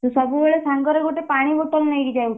ତୁ ସବୁବେଳେ ସାଙ୍ଗରେ ଗୋଟେ ପାଣି bottle ନେଇକି ଯାଉଥିବୁ।